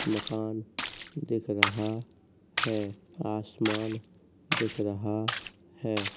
मकान दिख रहा है। आसमान दिख रहा है।